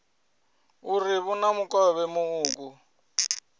uri vhu na mukovhe muuku